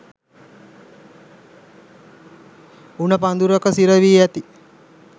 උණ පඳුරක සිරවී ඇති